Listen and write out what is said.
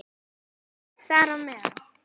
Það er bara meðal.